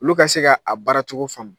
Olu ka se ka a baaracogo faamu.